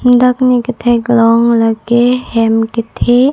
dak ne katheklong lake hem kethe.